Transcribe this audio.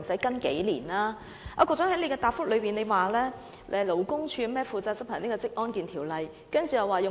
局長在主體答覆指出，勞工處負責執行《職業安全及健康條例》、《